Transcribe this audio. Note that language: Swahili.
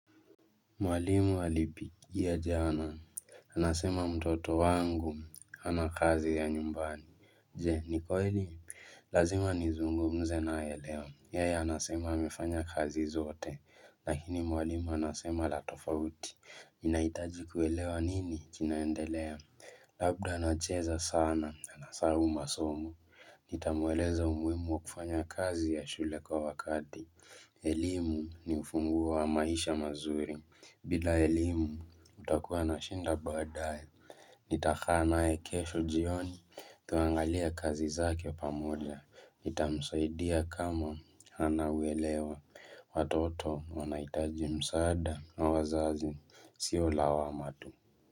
Mwalimu halipi, ya jana. Anasema mtoto wangu, hana kazi ya nyumbani. Je, ni kweli? Lazima nizungumze naye leo. Yeye anasema amefanya kazi zote. Lakini mwalimu anasema la tofauti. Inaitaji kuelewa nini, kinaendelea. Labda anacheza sana, anasahau masomo. Nitamueleza umuhimu wa kufanya kazi ya shule kwa wakati. Elimu ni ufunguo wa maisha mazuri. Bila elimu utakuwa na shinda baadae Nitakaa naye kesho jioni tuangalie kazi zake pamoja nitamsaidia kama hana uelewa. Watoto wanahitaji msaada na wazazi sii lawama tu.